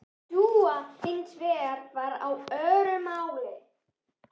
Dúa hins vegar var á öðru máli.